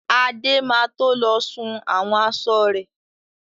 Adé má to lọ sun àwọn aṣọ rẹ̀.